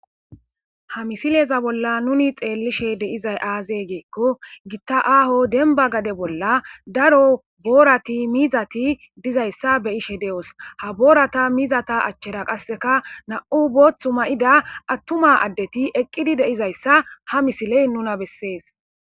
Ha missileza bolla nuni xelishe de'zay azze giko giththa aaho demba gade bolla daro borathi mizathi dizayssa besishshe deo'ss. Ha borathi mizathi lanqen qaseka nau' boththa ma'da athumu addethi eqqid dizayssa ha missile qoncises.